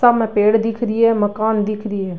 सामने पेड़ दिख री है मकान दिख री है।